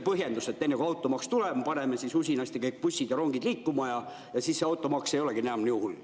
Põhjendus oli, et enne, kui automaks tuleb, me paneme usinasti kõik bussid ja rongid liikuma ja siis ei olegi automaks enam nii hull.